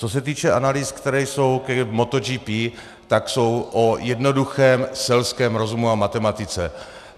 Co se týče analýz, které jsou k MotoGP, tak jsou o jednoduchém selském rozumu a matematice.